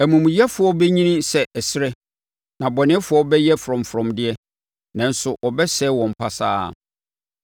amumuyɛfoɔ bɛnyini sɛ ɛserɛ na abɔnefoɔ bɛyɛ frɔmfrɔm deɛ, nanso wɔbɛsɛe wɔn pasaa.